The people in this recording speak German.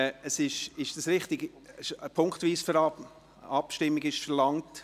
Ist es richtig, dass eine punktweise Abstimmung verlangt ist?